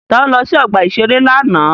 Ta ló lọ sí ọgbà-ìṣeré lánàá?